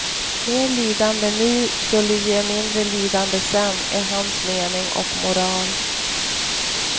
Mer lidande nu skulle ge mindre lidande sen, är hans mening och moral.